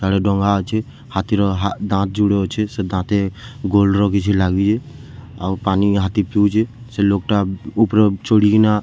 ସିଆଡେ ଡ଼ଙ୍ଗା ଅଛେ ହାତୀ ର ହା ଦାନ୍ତ ଯୁଡେ ଅଛେ ସେ ଦାନ୍ତେ ଗୋଲ୍ଡ ର କିଛି ଲାଗିଛେ ଆଉ ପାନି ହାତୀ ପିଉଛେ ସେ ଲୋକ୍‌ ଟା ଉପରେ ଚଢ଼ିକିନା--